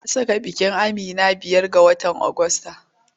An saka ranar bikin Amina biyan ga watan Ogusta.